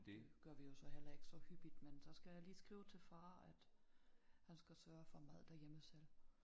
Det gør vi jo så heller ikke så hyppigt men så skal jeg lige skrive til far at han skal sørge for mad derhjemme selv